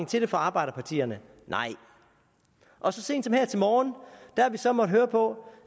til det fra arbejderpartierne nej og så sent som her til morgen har vi så måttet høre på